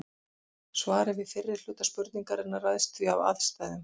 Svarið við fyrri hluta spurningarinnar ræðst því af aðstæðum.